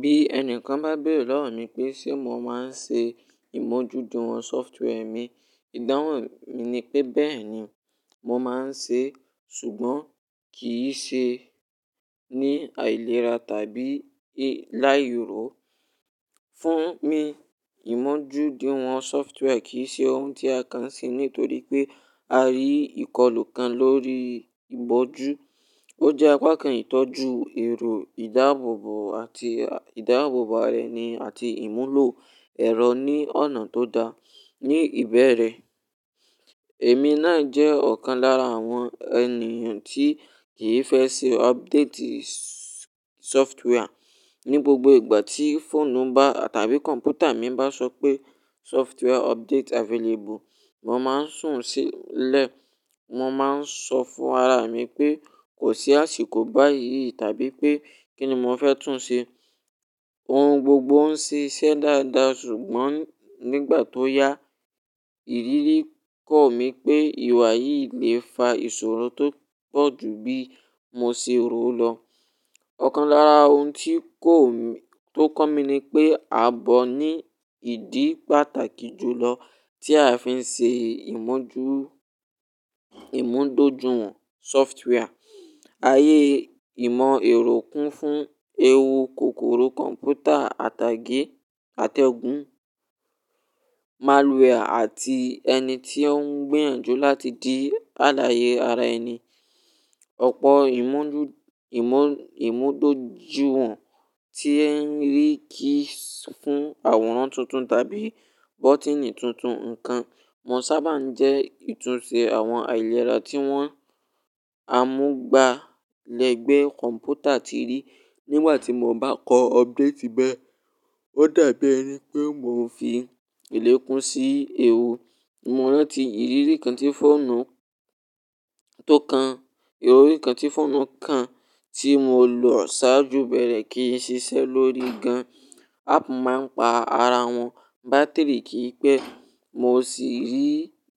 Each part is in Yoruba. Bí ẹni kan bá bèrè lọ́wọ́ mi pé ṣe mo máa ń ṣe ìmójúdun àwọn software mi, ìdáhùn mi ni pé bẹ́ẹ̀ ni mò ń ṣe ṣùgbọ́n kì í ṣe ní àìlera tàbí láìro. Fún mi, ìmójúduwon software kì í ṣe ohun tí a kan ṣe nítorí pé a rí ìkọlù kan lórí ìbójú. Ó jẹ́ apá kan ìtọ́jú èrò ìdáàbòbò àti ìdáàbòbo ara eni àti ìmúlò ẹ̀rọ ní ọ̀nà tó da. Ni ìbẹ̀rẹ̀, èmi náà jẹ́ ọ̀kan lára àwọn ènìyàn tí kì í fẹ́ ṣe update software. Ni gbogbo ìgbà tí fóònù bá tàbí kọ̀ǹpútà mi bá sọ pé "software update available", mò ma ń sùn sílẹ̀. Mo máa ń sọ fún ara mi pé kò sí àsìkò báyìí tàbí pé kí ni mò fẹ́ tún ṣe. Ohun gbogbo ń ṣiṣẹ́ dáadáa ṣùgbọ́n nígbà tó yá, ìrírí kọ mi pé ìwà yìí le fa ìṣòro tó pọ̀ ju bí mo ṣe rò ó lọ. Ọ̀kan lára ohun ti kọ́ mi ni pé a bọ ní ìdí pàtàkì jùlọ tí a fi ń ṣe ìmójú-ìmúdójúwọn software. Ayé ìmọ̀ èrò kún fún ewu kòkòrò kọ̀ǹpútà àtàgé, àtẹ̀gùn, malware àti ẹni tí ó ń gbiyànjú láti di àlàyé ara ẹni. Ọ̀pọ̀ ìmúdójúwọn tí ẹ ń rí kì í fún àwòrán tuntun tàbí bọ́tíìnì tuntun nǹkan. Wọ́n sábà ń jẹ́ ìtúnṣe àwọn àìlera tí wọ́n amúgbalẹ̀gbẹ́ kọ̀ǹpútà ti rí. Nígbà tí mò bá kọ update bẹ́ẹ̀, ó dàbí ẹni pé mò ń fi ìlékùn sí ewu. Mo rántí ìrírí kan tí fóònù tó kan, ìrírí kan tí fóònù kan tí mo lọ sáájú bẹ̀rẹ̀ kì í ṣiṣẹ́ lórí gan. Ápp máa ń pa ara wọn, bátìrì kì í pẹ́, mo sì rí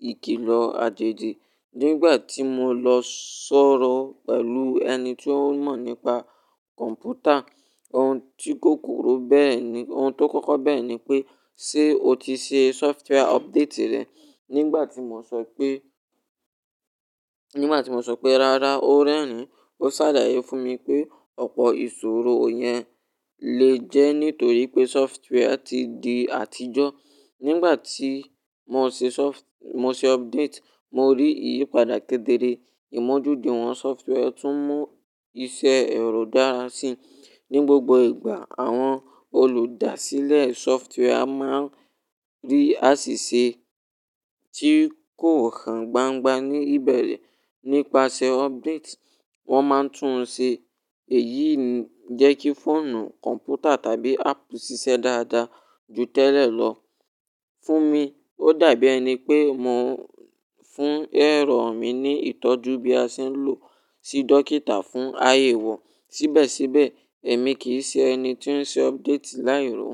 ìkìlọ̀ àjèjì. Nígbà tí mo lọ sọ̀rọ̀ pẹ̀lú ẹni tí ó mọ̀ nípa kọ̀ǹpútà, ohun tí ó kọ̀ko bẹ́re ni-- ohun tó kọ́kọ́ bẹ́rẹ̀ ni pé "ṣé o ti ṣe software update rẹ?" Nígbà tí mò sọ pé, nígbà tí mò sọ pé "rárá", ó rẹ́rìn-ín. Ó ṣàlàyé fún mi pé ọ̀pọ̀ ìṣòro yẹn lè jẹ́ nítorí pé software ti di àtijọ́. Nígbà tí mo ṣe sọf-- mo ṣe update, mo rí ìyípadà kéderé. Ìmójúduwọn software tún mú iṣẹ́ ẹ̀rọ dára sí. Ni gbogbo ìgbà àwọn olùdásílẹ̀ software a máa ń rí àsìsè tí kò hàn gbangba ní ìbẹ̀rẹ̀. Nípasẹ̀ update, wọ́n máa ń tún ṣe èyí ń jẹ́ kí fóònù, kọ̀ǹpútà tàbí ápp ṣiṣẹ́ dáadáa ju tẹ́lẹ̀ lọ. Fún mi, ó dàbí ẹni pé mò ń fún ẹ̀rọ mi ní ìtọ́jú bí a ṣe ń lò sí dókítà fún ayéwo. Síbẹ̀síbẹ̀, èmi kì í ṣe ẹni tí ó ṣe update láìro.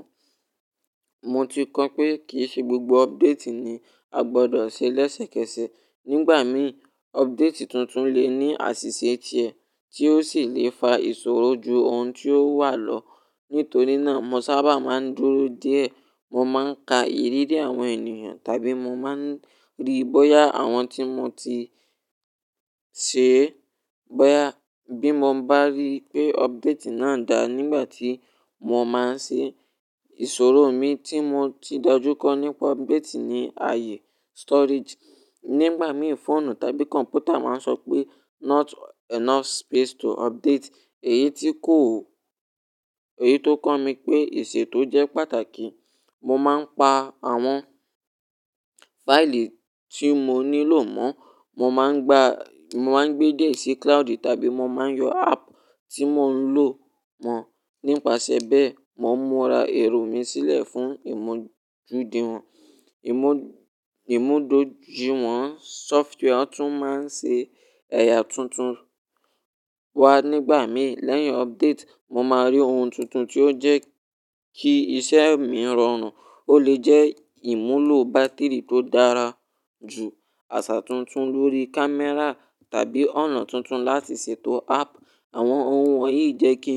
Mo ti kọ́ pé kì í ṣe gbogbo update ni a gbọdọ̀ ṣe lẹ́sẹ̀kẹsẹ̀. Nígbà mìí, update tuntun lè ní àṣìṣe tiẹ̀ tí ó sì lè fa ìṣòro ju ohun tí ó wà lọ. Nítorí náà, mo sábà máa ń dúró díẹ̀. Mo máa ń ka ìrírí àwọn ènìyàn tàbí mo máa ń ríí bóyá àwọn tí mo ti ṣe, bóyá bí mo bá rí pé update náà da nígbà tí mò máa ń ṣe, ìṣòro mi tí mò ti dojúkọ nípa update ní ààyè storage. Nígbà mìí, fóònù tàbí kọ̀ǹpútà máa ń sọ pé "not enough space to update". Èyí tí kò ó-- èyí tó kọ́ mi pé ìṣètò jẹ́ pàtàkì. Mo máa ń pa àwọn fáìlì tí mo nílò mọ́. Mo máa ń gba-- mo máa ń gbé dié sí cloud tàbí mo máa ń yọ ápp tí mò ń lò mọ́. Nípasẹ̀ bẹ́ẹ̀, mò ń múra èrò mi sílẹ̀ fún ìmójúduwọn ìmúdojuwọn software. Ó tún máa ń ṣe ẹ̀yà tuntun wá nígbà mìí. Lẹ́yìn update, mo máa rí ohun tuntun tí ó jẹ́ kí iṣẹ́ mi rọrùn. Ó lè jẹ́ ìmúlò bátìrì tó dára jù, àṣà tuntun lórí kámẹ́rà tàbí ọ̀nà tuntun láti ṣètò ápp. Àwọn ohun wọ̀nyí jẹ́ kí.